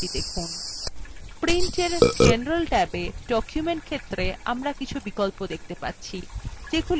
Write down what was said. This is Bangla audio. printin general ট্যাবে document ক্ষেত্রে আমরা কিছু বিকল্প দেখতে পাচ্ছি যেগুলি শুধুমাত্র impressin থাকে